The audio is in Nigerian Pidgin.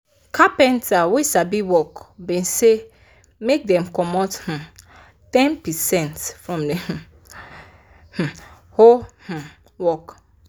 carpenta wey sabi work been say make dem comot um ten percent from the um um whole um work